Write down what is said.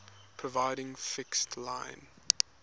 providing fixed line